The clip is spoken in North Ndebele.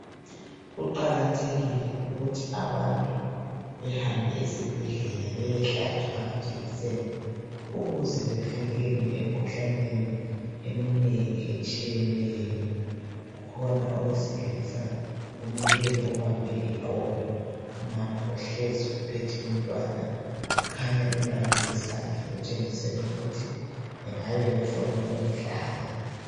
Kuqakathekile ukuthi abantu behambe esibhedlela beyehlatshwa amajekiseni ukuze bevikelwe emikhuhlaneni eminengi etshiyeneyo. Kukhona owesilisa omileyo obambe iqolo. Umama uhlezi uphethe umntwana kukhanya bembambe isandla okutshengisela ukuthi bengabe befuna ukumhlaba.